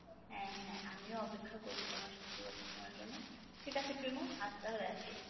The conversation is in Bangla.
হ্যাঁ হ্যাঁ আমিও অপেক্ষা করবো তোমার সফলতা শোনার জন্য ঠিক আছে প্রেমো আজ তাহলে আসি।